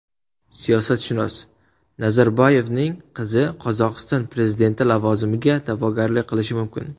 Siyosatshunos: Nazarboyevning qizi Qozog‘iston prezidenti lavozimiga da’vogarlik qilishi mumkin.